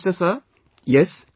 Prime Minister ...